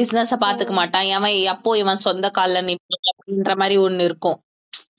business பாத்துக்க மாட்டான் ஏம்மா அப்போ இவன் சொந்த கால்ல அப்படின்ற மாதிரி ஒண்ணு இருக்கும்